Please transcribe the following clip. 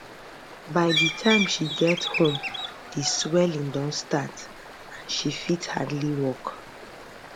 by di time she get home di swelling don start and she she fit hardly walk